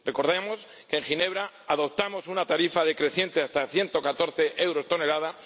Recordemos que en Ginebra adoptamos una tarifa decreciente hasta 114 euros tonelada